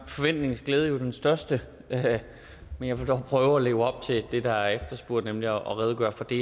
forventningens glæde jo den største men jeg vil dog prøve at leve op til det der er efterspurgt nemlig at redegøre for det